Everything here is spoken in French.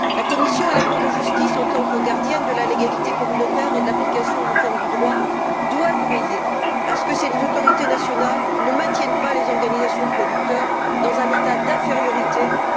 La Commission et la Cour de justice, en tant que gardiennes de la légalité communautaire et de l'application uniforme du droit, doivent veiller à ce que ces autorités nationales ne maintiennent pas les organisations de producteurs dans un état d'infériorité qui grève leurs capacités de négociation.